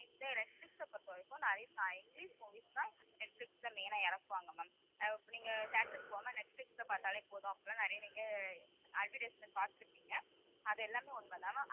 இந்த நெட்பிலிஸ்ஸ பொறுத்தவரைக்கும், நிறைய த~ இங்கிலிஷ் movies தான் நெட்பிலிஸ்ல main ஆ இறக்குவாங்க ma'am அஹ் நீங்க theatre க்கு போகாம நெட்பிலிஸ்ல பார்த்தாலே போதும் அப்படியெல்லாம் நிறைய நீங்க advertisement பார்த்திருப்பீங்க அது எல்லாமே உண்மைதான் ma'am.